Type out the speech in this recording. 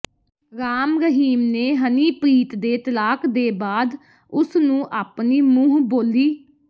ਰਾਮ ਰਹੀਮ ਨੇ ਹਨੀਪ੍ਰੀਤ ਦੇ ਤਲਾਕ ਦੇ ਬਾਅਦ ਉਸਨੂੰ ਆਪਣੀ ਮੂੰਹਬੋਲੀ